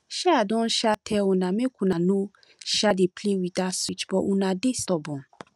um i don um tell una make una no um dey play with dat switch but una dey stubborn